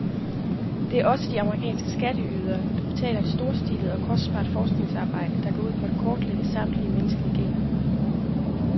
Det er også de amerikanske skatteydere, der betaler et storstilet og kostbart forskningsarbejde, der går ud på at kortlægge samtlige menneskelige gener.